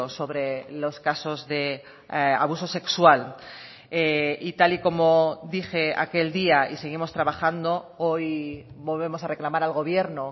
sobre los casos de abusos sexual y tal y como dije aquel día y seguimos trabajando hoy volvemos a reclamar al gobierno